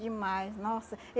Demais, nossa.